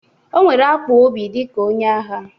O nwere akpụ obi dịka onye agha